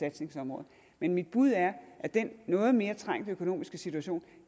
indsatsområde men mit bud er at den noget mere trængte økonomiske situation